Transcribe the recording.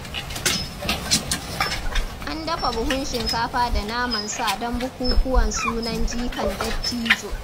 An dafa buhun shinkafa da naman sa don bukukkuwan sunan jikan Dattijo.